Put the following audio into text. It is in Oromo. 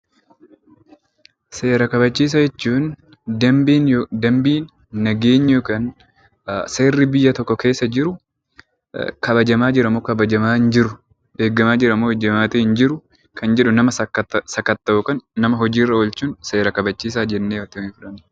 Seera kabachiisaa jechuun dambiin, nageenyi yookaan seerri biyya tokko keessa jiru kabajamaa jira moo kabajamaa hin jiru, eegamaa jira moo eegamaa hin jiru kan jedhu nama sakkatta’uu yookiin nama hojiirra oolchuun seera kabachiisaa jennee fudhanna.